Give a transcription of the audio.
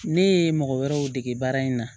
Ne ye mɔgɔ wɛrɛw dege baara in na